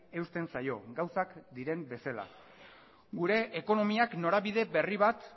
eusten zaio gauzak diren bezala gure ekonomiak norabide berri bat